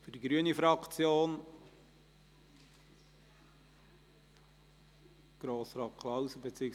Vorhin stand der Name von Grossrat Klauser auf dem Display.